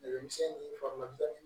Dɛmɛ misɛnnin faga dɔɔni